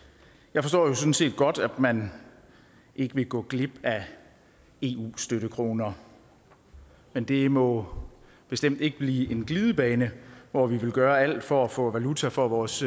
jeg forstår jo sådan set godt at man ikke vil gå glip af eu støttekroner men det må bestemt ikke blive en glidebane hvor vi vil gøre alt for at få valuta for vores